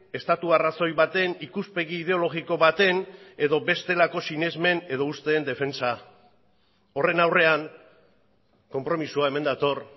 estatu arrazoi baten ikuspegi ideologiko baten edo bestelako sinesmen edo usteen defentsa horren aurrean konpromisoa hemen dator